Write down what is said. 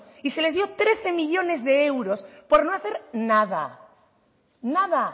y se les dio trece millónes de euros por no hacer nada nada